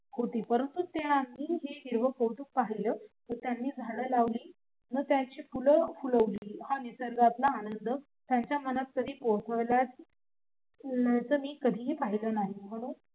परंतु त्यांनी हिरव कौतुक पाहिलं त्यांनी झाड लावली न त्यांनी फुल फुलवली हा निसर्गातला आनंद त्यांच्या मनात कधी पोचल्याचा मी कधीही पाहिलं नाही म्हणून